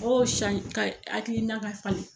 ka hakilina ka falen